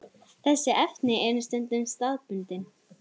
Þessi efni eru stundum staðbundin.